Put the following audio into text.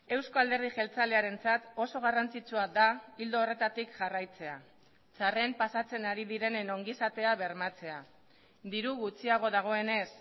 euzko alderdi jeltzalearentzat oso garrantzitsua da ildo horretatik jarraitzea txarren pasatzen ari direnen ongizatea bermatzea diru gutxiago dagoenez